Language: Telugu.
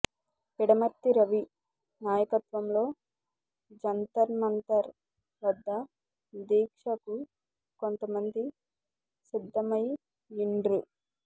పిడమర్తి రవి నాయకత్వంలో జంతర్మంతర్ వద్ద దీక్షకు కొంత మంది సిద్ధమ యిండ్రు